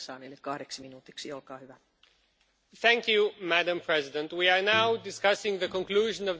Madam President, we are now discussing the conclusion of the third economic adjustment programme for Greece.